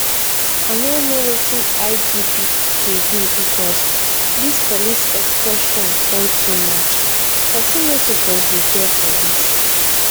i no know wetin igp dey do because dis police extortion don too much person no suppose dey fear police